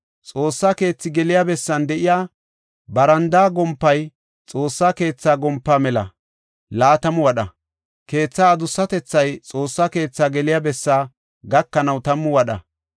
Xoossa keethi geliya bessan de7iya barandaa gompay Xoossaa keethaa gompaa mela laatamu wadha; keetha adussatethay Xoossa keetha geliya bessa gakanaw tammu wadha.